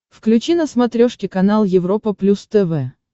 включи на смотрешке канал европа плюс тв